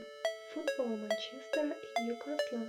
футбол манчестера и ньюкасла